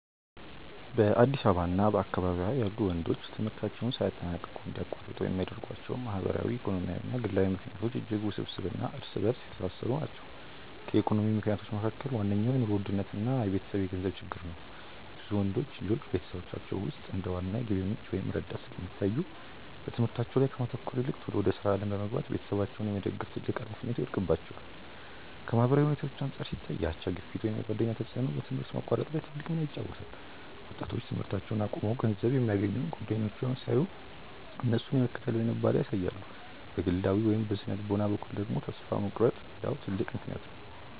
በአዲስ አበባ እና በአካባቢዋ ያሉ ወንዶች ትምህርታቸውን ሳያጠናቅቁ እንዲያቋርጡ የሚያደርጓቸው ማህበራዊ፣ ኢኮኖሚያዊ እና ግላዊ ምክንያቶች እጅግ ውስብስብ እና እርስ በእርስ የተሳሰሩ ናቸው። ከኢኮኖሚ ምክንያቶች መካከል ዋነኛው የኑሮ ውድነት እና የቤተሰብ የገንዘብ ችግር ነው። ብዙ ወንዶች ልጆች በቤተሰቦቻቸው ውስጥ እንደ ዋና የገቢ ምንጭ ወይም ረዳት ስለሚታዩ፣ በትምህርታቸው ላይ ከማተኮር ይልቅ ቶሎ ወደ ሥራ ዓለም በመግባት ቤተሰባቸውን የመደገፍ ትልቅ ኃላፊነት ይወድቅባቸዋል። ከማህበራዊ ሁኔታዎች አንጻር ሲታይ፣ የአቻ ግፊት ወይም የጓደኛ ተጽዕኖ በትምህርት ማቋረጥ ላይ ትልቅ ሚና ይጫወታል። ወጣቶች ትምህርታቸውን አቁመው ገንዘብ የሚያገኙ ጓደኞቻቸውን ሲያዩ፣ እነሱን የመከተል ዝንባሌ ያሳያሉ። በግላዊ ወይም በሥነ-ልቦና በኩል ደግሞ፣ ተስፋ መቁረጥ ሌላው ትልቅ ምክንያት ነው።